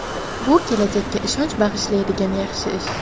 Bu kelajakka ishonch bag‘ishlaydigan yaxshi ish.